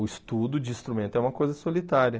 O estudo de instrumento é uma coisa solitária.